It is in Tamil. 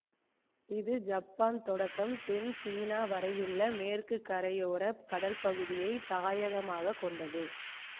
இது ஜப்பான் தொடக்கம் தென் சீனா வரையுள்ள மேற்கு கரையோரக் கடல் பகுதியை தாயகமாக கொண்டது